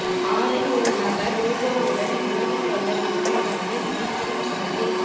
ஆறில் ஒரு நபர் ரோபோவுடன் உறவு கொள்ள விரும்புவதாக திடுக்கிடும் சர்வே